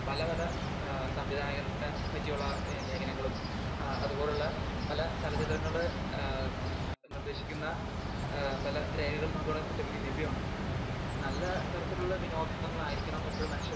പല പലഏഹ് സംവിധായകനെത്തെ പറ്റിയുള്ള ലേഖനങ്ങളും അത് പോലുള്ള പല ചലച്ചിത്രങ്ങളില് ഏഹ് നിർദ്ദേശിക്കുന്ന ഏഹ് പല രേഖകളും നമുക്ക് ഇവിടെ ലഭ്യമാണ്. നല്ല തരത്തിലുള്ള വിനോദങ്ങളായിരിക്കണം എപ്പോഴും മനുഷ്യർക്ക്